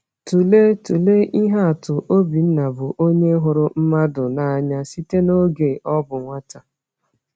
Tụlee Tụlee ihe atụ Obinna, bụ onye hụrụ mmadụ n’anya site n’oge ọ bụ nwata.